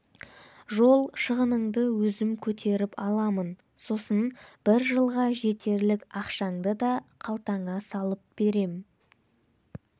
жол шығыныңды өзім көтеріп аламын сосын бір жылға жетерлік ақшаңды да қалтаңа салып берем